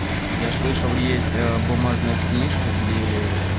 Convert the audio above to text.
я слышал есть ээ бумажная книжка гдее